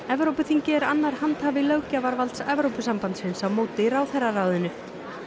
Evrópuþingið er annar handhafi löggjafarvalds Evrópusambandins á móti ráðherraráðinu